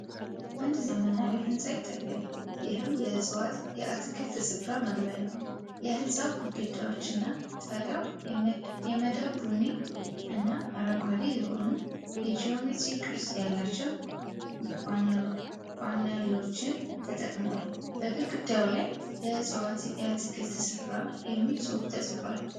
አንድ ዘመናዊ ሕንጻ ይታያል፤ ይህም የዕፅዋት የአትክልት ስፍራ መግቢያ ነው። የህንጻው ግድግዳዎችና ጣሪያዎች የመዳብ ቡኒ እና አረንጓዴ የሆኑ የጂኦሜትሪክ ቅርጽ ያላቸው ፓነሎችን ተጠቅመዋል። በግድግዳው ላይ "የዕፅዋት የአትክልት ስፍራ" የሚል ጽሑፍ ተጽፏል።